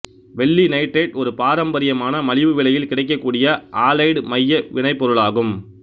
வெள்ளி நைட்ரேட்டு ஒரு பாரம்பரியமான மலிவு விலையில் கிடைக்கக்கூடிய ஆலைடு மைய வினைப்பொருளாகும்